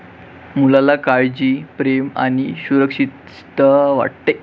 मुलाला काळजी, प्रेम आणि सुरक्षितता वाटते.